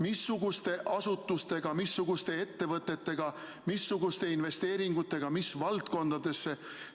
Missugused asutused, missugused ettevõtted, missugused investeeringud mis valdkondadesse?